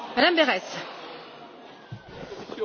Madame la Présidente, il me semble que M.